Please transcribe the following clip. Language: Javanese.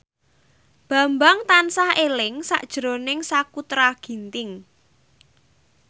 Bambang tansah eling sakjroning Sakutra Ginting